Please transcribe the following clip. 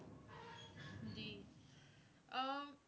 ਜੀ ਅਹ